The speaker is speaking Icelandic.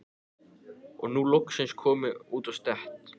Og er nú loksins kominn út á stétt.